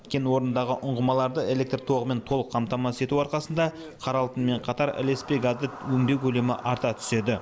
кен орнындағы ұңғымаларды электр тоғымен толық қамтамасыз ету арқасында қара алтынмен қатар ілеспе газды өңдеу көлемі арта түседі